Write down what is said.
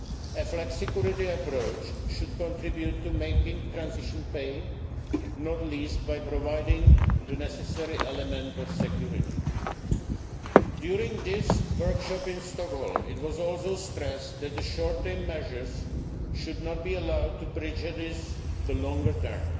A flexicurity approach should contribute to making transitions pay, not least by providing the necessary element of security. During this workshop in Stockholm, it was also stressed that the short term measures should not be allowed to prejudice the longer